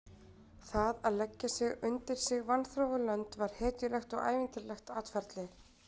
Það að leggja sig undir sig vanþróuð lönd var hetjulegt og ævintýralegt atferli.